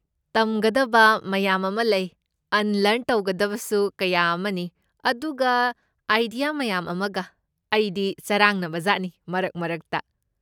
ꯇꯝꯒꯗꯕ ꯃꯌꯥꯝ ꯑꯃ ꯂꯩ, ꯑꯟꯂ꯭ꯔꯟ ꯇꯧꯒꯗꯕꯁꯨ ꯀꯌꯥ ꯑꯃꯅꯤ, ꯑꯗꯨꯒ ꯑꯥꯏꯗꯤꯌꯥ ꯃꯌꯥꯝ ꯑꯃꯒ, ꯑꯩꯗꯤ ꯆꯔꯥꯡꯅꯕꯖꯥꯠꯅꯤ ꯃꯔꯛ ꯃꯔꯛꯇ꯫